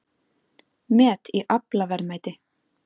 Met í aflaverðmæti